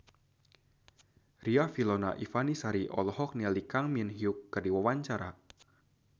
Riafinola Ifani Sari olohok ningali Kang Min Hyuk keur diwawancara